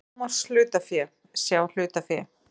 Lágmarkshlutafé, sjá hlutafé